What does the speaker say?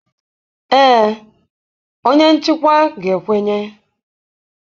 Ee, onye nchịkwa ga-ekwenye